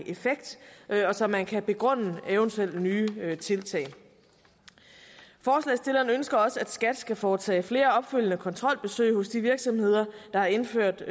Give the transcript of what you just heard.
effekt og så man kan begrunde eventuelle nye tiltag forslagsstillerne ønsker også at skat skal foretage flere opfølgende kontrolbesøg hos de virksomheder der har indført